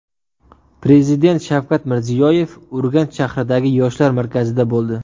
Prezident Shavkat Mirziyoyev Urganch shahridagi Yoshlar markazida bo‘ldi.